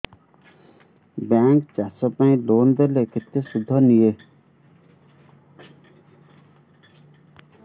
bank ଚାଷ ପାଇଁ loan ଦେଲେ କେତେ ସୁଧ ନିଏ